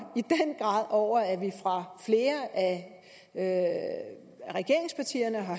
i den grad over at vi fra flere af regeringspartierne har